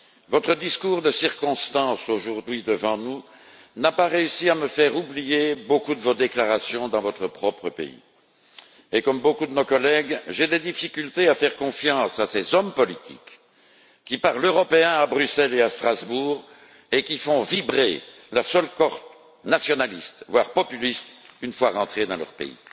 Votre discours de circonstance, aujourd'hui, devant nous, n'a pas réussi à me faire oublier beaucoup de vos déclarations dans votre propre pays. Et comme beaucoup de nos collègues, j'ai des difficultés à faire confiance à ces hommes politiques qui parlent européen à Bruxelles et à Strasbourg, tandis qu'ils font vibrer la seule corde nationaliste, voire populiste, une fois rentrés dans leur pays.